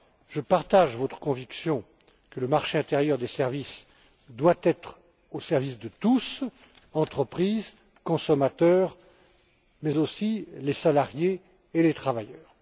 Je partage votre conviction, à savoir que le marché intérieur des services doit être au service de tous entreprises, consommateurs mais aussi salariés et travailleurs.